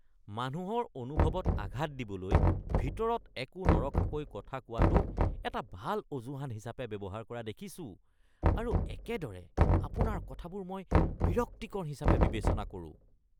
মানুহৰ অনুভৱত আঘাত দিবলৈ ভিতৰত একো নৰখাকৈ কথা কোৱাটোক এটা ভাল অজুহাত হিচাপে ব্যৱহাৰ কৰা দেখিছোঁ আৰু একেদৰে আপোনাৰ কথাবোৰ মই বিৰক্তিকৰ হিচাপে বিবেচনা কৰোঁ।